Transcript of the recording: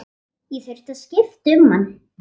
Ég þurfti að skipta um hann.